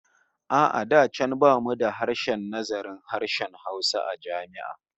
A'a da can bamu da sashen nazarin harshen Hausa a jami'a